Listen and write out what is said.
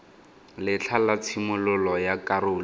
letlha la tshimololo ya karolo